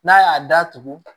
N'a y'a datugu